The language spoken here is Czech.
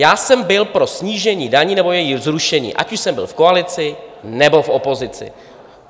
Já jsem byl pro snížení daní nebo jejich zrušení, ať už jsem byl v koalici, nebo v opozici.